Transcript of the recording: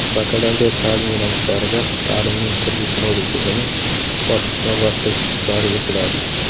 bakalavriat ta’lim yo‘nalishlarida ta’limning kredit-modul tizimi bosqichma-bosqich joriy etiladi.